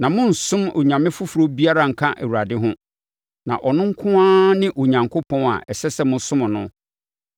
Na monnsom onyame foforɔ biara nka Awurade ho, na ɔno nko ara ne Onyankopɔn a ɛsɛ sɛ mosom no.